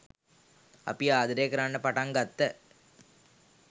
අපි ආදරේ කරන්න පටන් ගත්ත.